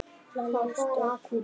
Lalli stökk út.